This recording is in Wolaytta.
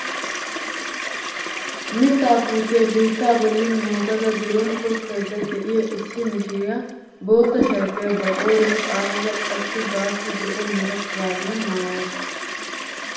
Mittaa putiyaa biittaa bolli moogada biron tokkayda de'iyaa issi mishiriyaa bootta sharbbiyaa ba qooriyaan xaaxada qassi baassi zo'o mera shuraabiya maayasu.